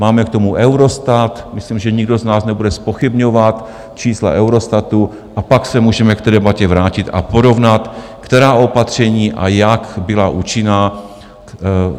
Máme k tomu Eurostat, myslím, že nikdo z nás nebude zpochybňovat čísla Eurostatu, a pak se můžeme k té debatě vrátit a porovnat, která opatření a jak byla účinná.